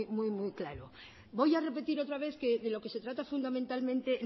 muy muy muy claro voy a repetir otra vez que de lo que se trata fundamentalmente